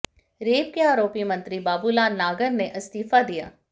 rape के आरोपी मंत्री बाबूलाल नागर ने इस्तीफा दिया